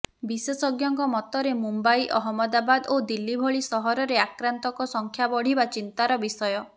ବିଶେଷଜ୍ଞଙ୍କ ମତରେ ମୁମ୍ବାଇ ଅହମଦାବାଦ ଓ ଦିଲ୍ଲୀ ଭଳି ସହରରେ ଆକ୍ରାନ୍ତଙ୍କ ସଂଖ୍ୟା ବଢ଼ିବା ଚିନ୍ତାର ବିଷୟ